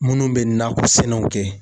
Munnu be nakɔ sɛnɛw kɛ